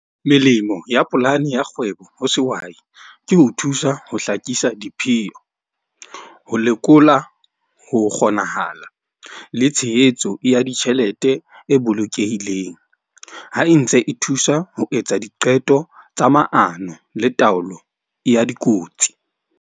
Melemo ya polane ya kgwebo ho sehwai ke ho thusa ho hlakisa . Ho lekola ho kgonahala le tshehetso ya ditjhelete e bolokehileng, ha e ntse e thusa ho etsa diqeto tsa maano le taolo ya dikotsi.